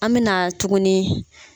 An bɛ na tugunni.